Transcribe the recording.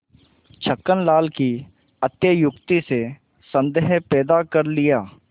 छक्कन लाल की अत्युक्ति से संदेह पैदा कर लिया